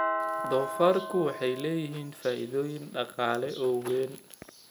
Doofaarku waxay leeyihiin faa'iidooyin dhaqaale oo weyn.